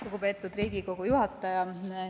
Lugupeetud Riigikogu juhataja!